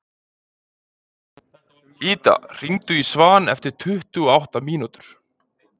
Ida, hringdu í Svan eftir tuttugu og átta mínútur.